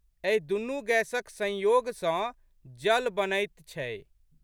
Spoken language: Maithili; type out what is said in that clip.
एही दुनू गैसक संयोग सँ जल बनैत छै।